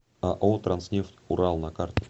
ао транснефть урал на карте